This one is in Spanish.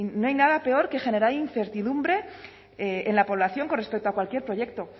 no hay nada peor que generar incertidumbre en la población con respecto a cualquier proyecto